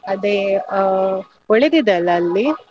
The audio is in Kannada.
ಅದೇ ಆ ಒಳ್ಳೆದಿದೆ ಅಲ್ಲ ಅಲ್ಲಿ?